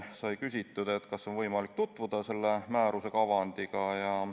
Sai küsitud, kas on võimalik tutvuda selle määruse kavandiga.